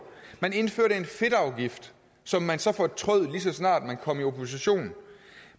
man indførte en fedtafgift som man så fortrød lige så snart man kom i opposition